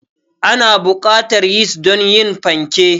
Ana buƙatar yis don yin fanke.